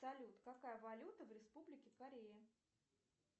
салют какая валюта в республике корея